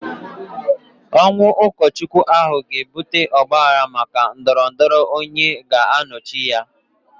Ọnwụ ụkọchukwu ahụ ga-ebute ọgbaaghara maka ndọrọ ndọrọ onye ga-anọchi anya ya.